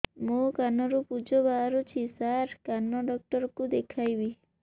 ମୋ କାନରୁ ପୁଜ ବାହାରୁଛି ସାର କାନ ଡକ୍ଟର କୁ ଦେଖାଇବି